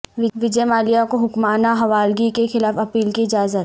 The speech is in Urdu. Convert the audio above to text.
وجئے مالیا کو حکمنامہ حوالگی کے خلاف اپیل کی اجازت